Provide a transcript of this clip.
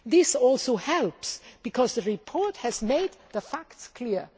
This also helps because the report has made the facts clear.